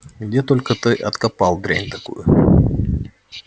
где только ты откопал дрянь такую